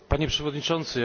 Panie Przewodniczący!